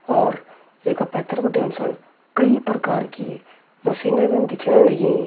और ये का पैथर बिटिन हम सण कई प्रकार की मशीनें भी दिखण लगीं।